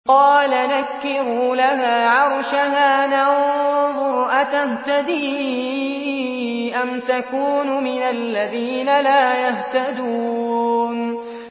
قَالَ نَكِّرُوا لَهَا عَرْشَهَا نَنظُرْ أَتَهْتَدِي أَمْ تَكُونُ مِنَ الَّذِينَ لَا يَهْتَدُونَ